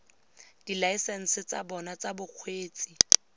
dilaesense tsa bona tsa bokgweetsi